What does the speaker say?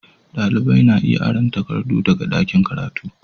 Dalibai na iya aron takardu daga ɗakin karatu